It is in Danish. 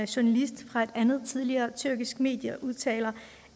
journalist fra et andet tidligere tyrkisk medie udtalte